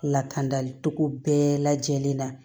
Lakandali cogo bɛɛ lajɛlen na